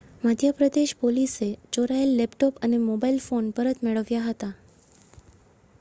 મધ્ય પ્રદેશ પોલીશે ચોરાયેલ લેપટોપ અને મોબાઈલ ફોન પરત મેળવ્યા હતા